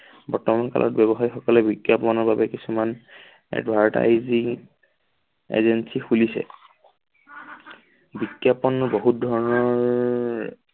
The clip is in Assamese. বৰ্তমান কালত ব্যৱসায়সকলে বিজ্ঞাপনৰ লগত কিছুমান advertising agency খুলিছে। বিজ্ঞাপন বহুত ধৰণৰ